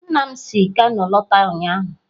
Nna m si kano lọta ụnyahụ.